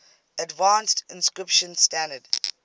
advanced encryption standard